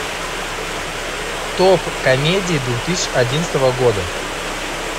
топ комедий две тысячи одиннадцатого года